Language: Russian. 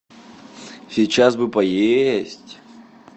сейчас бы поесть